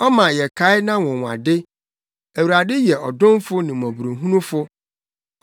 Ɔma yɛkae nʼanwonwade; Awurade yɛ ɔdomfo ne mmɔborɔhunufo.